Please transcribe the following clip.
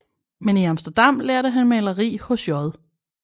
Men i Amsterdam lærte han maleri hos J